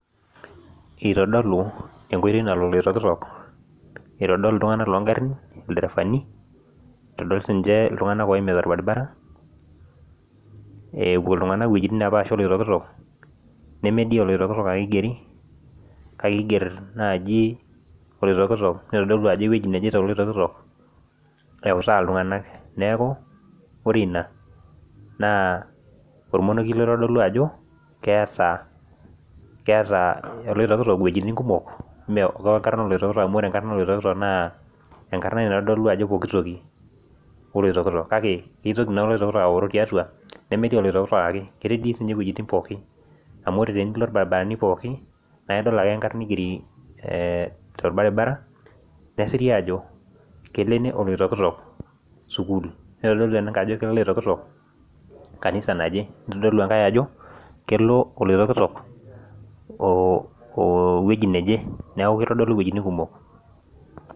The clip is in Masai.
itodolu enkoitoi nalo oiloitokitok aitodol ilderefani nitodol sii niche iltung'anak oimita olbaribara, epuo iltung'anak iwejitin nepashipasha oloitoktok, nemedii ake enkarna oloitokitok iiger ajo kaji elo toloitoktok eeutaa iltung'anak neeku ore ina naa olmonokie oitodolu ajo keetaa oloitokitok iwejitin kumok amu ore enkarana oloitokitok naa kitoki naa olitoktok aaoro tiatua ketii dii siinye iwejitin pooki amu idol ake ajo kelo ene olitoktok nesiri ajo sukuul , nitodolu engae kanisa naje, kelo oloitoktok oweji neje neeku kitodolu iwejitin kumok.